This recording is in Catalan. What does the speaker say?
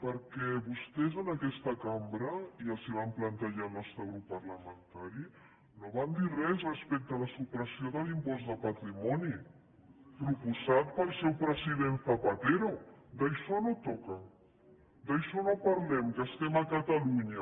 perquè vostès en aquesta cambra ja els ho vam plantejar el nostre grup parlamentari no van dir res respecte a la supressió de l’impost de patrimoni proposat pel seu president zapatero això no toca d’això no en parlem que estem a catalunya